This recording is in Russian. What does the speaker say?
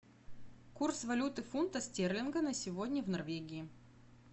курс валюты фунта стерлинга на сегодня в норвегии